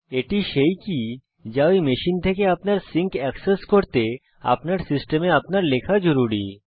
এটি সেই কী যা ঐ মেশিন থেকে আপনার সিঙ্ক অ্যাক্সেস করতে আমাদের সিস্টেমে আপনার লেখা জরুরি